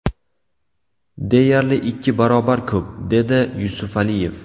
Deyarli ikki barobar ko‘p”, – dedi Yusufaliyev.